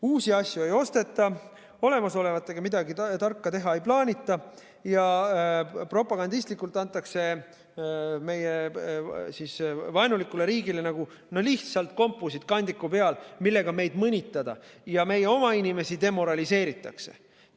Uusi asju ei osteta, olemasolevatega midagi tarka teha ei plaanita ja propagandistlikult antakse meie vaenulikule riigile lihtsalt kompusid kandiku peal, millega meid mõnitada, ja meie oma inimesi demoraliseeritakse.